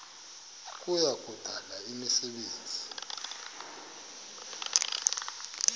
kuya kudala imisebenzi